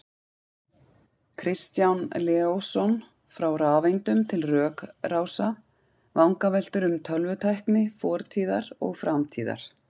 Kristján Leósson, Frá rafeindum til rökrása: Vangaveltur um tölvutækni fortíðar og framtíðar